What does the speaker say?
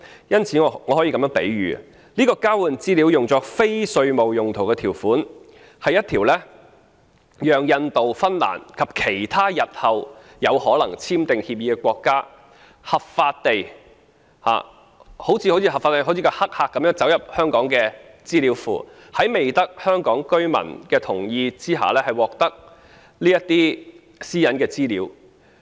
因此，我可以作這樣的比喻：這項交換資料作非稅務用途的條款，是讓印度、芬蘭及其他日後有可能簽訂協定的國家合法地好像黑客般走入香港的資料庫，在未得香港居民同意下，獲得這些屬於私隱的資料。